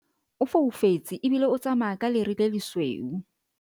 o foufetse ebile o tsamaya ka lere le lesweu